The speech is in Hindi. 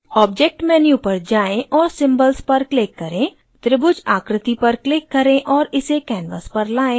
object menu पर जाएँ और symbols पर click करें त्रिभुज आकृति पर click करें और इसे canvas पर लाएं